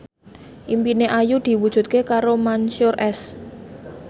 impine Ayu diwujudke karo Mansyur S